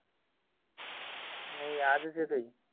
नई आजच येतोय